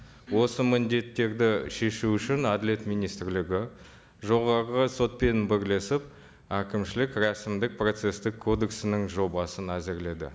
осы міндеттерді шешу үшін әділет министрлігі жоғарғы сотпен бірлесіп әкімшілік рәсімдік процесстік кодексінің жобасын әзірледі